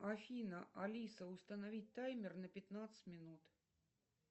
афина алиса установить таймер на пятнадцать минут